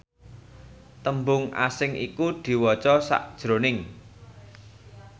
tembung asing iku diwaca sajroning